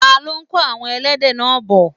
ta ló kó àwon ẹlẹ́dẹ̀ náà bọ̀?